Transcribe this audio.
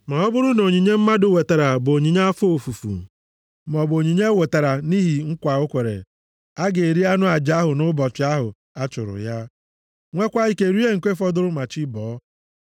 “ ‘Ma ọ bụrụ na onyinye mmadụ wetara bụ onyinye afọ ofufu, maọbụ onyinye o wetara nʼihi nkwa o kwere, a ga-eri anụ aja ahụ nʼụbọchị ahụ a chụrụ ya, nweekwa ike rie nke fọdụrụ ma chi bọọ.